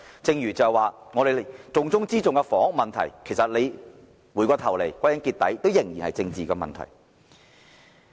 正如重中之重的房屋問題，回頭再看，歸根結底仍是政治問題。